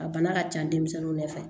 A bana ka ca denmisɛnninw de fɛ